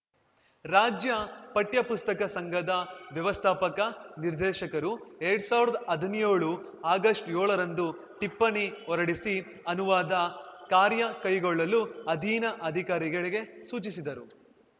ರಾಜ್ಯ ಪಠ್ಯಪುಸ್ತಕ ಸಂಘದ ವ್ಯವಸ್ಥಾಪಕ ನಿರ್ದೇಶಕರು ಎರಡ್ ಸಾವ್ರ್ದಾ ಹದಿನ್ಯೋಳು ಆಗಸ್ಟ್ ಯೋಏಳರಂದು ಟಿಪ್ಪಣಿ ಹೊರಡಿಸಿ ಅನುವಾದ ಕಾರ್ಯ ಕೈಗೊಳ್ಳಲು ಅಧೀನ ಅಧಿಕಾರಿಗಳಿಗೆ ಸೂಚಿಸಿದರು